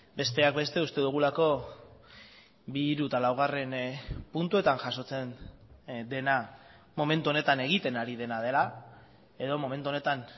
besteak beste uste dugulako bi hiru eta laugarren puntuetan jasotzen dena momentu honetan egiten ari dena dela edo momentu honetan